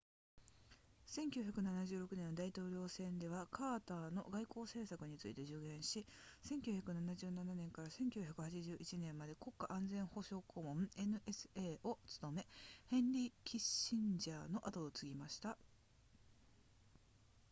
1976年の大統領選ではカーターの外交政策について助言し1977年から1981年まで国家安全保障顧問 nsa を務めヘンリーキッシンジャーの後を継ぎました